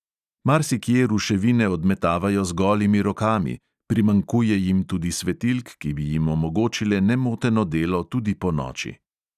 Marsikje ruševine odmetavajo z golimi rokami, primanjkuje jim tudi svetilk, ki bi jim omogočile nemoteno delo tudi ponoči.